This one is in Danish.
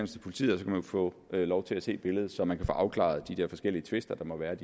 til politiet og få lov til at se billedet så man kan få afklaret de der forskellige tvister der måtte være i